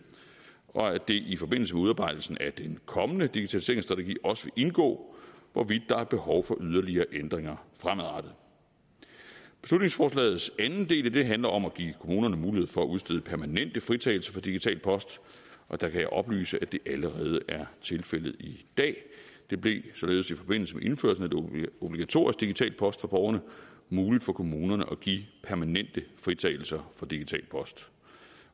og at det i forbindelse med udarbejdelsen af den kommende digitaliseringsstrategi også vil indgå hvorvidt der er behov for yderligere ændringer fremadrettet beslutningsforslagets anden del handler om at give kommunerne mulighed for at udstede permanente fritagelser for digital post og der kan jeg oplyse at det allerede er tilfældet i dag det blev således i forbindelse med indførelsen af obligatorisk digital post for borgerne muligt for kommunerne at give permanente fritagelser for digital post